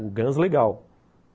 O Guns legal.